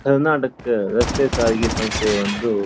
ಕರ್ನಾಟಕ ರಸ್ತೆ ಸಾರಿಗೆ ಸಂಸ್ಥೆ ಒಂದು --